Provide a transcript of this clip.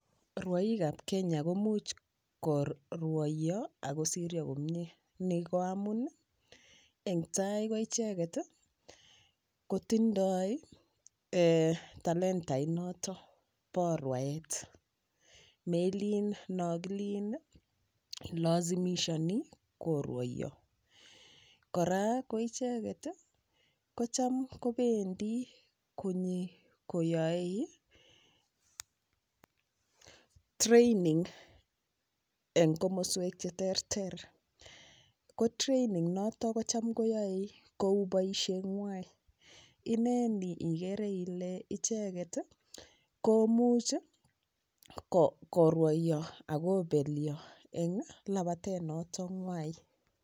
Rwoikab Kenya komuuch korwoiyo akosiryo komyee ni ko amun eng' tai ko icheket ko tindoi talentait noto bo rwaet melin no kilin ilazimishani korwoiyo kora ko icheket kocham kopendi konyikoyoei training eng' komoswek cheterter ko training noto kocham koyoe kou boisheng'wai ineni ikere Ile icheget komuch korwoiyo akopelyo eng labatet noto ng'wai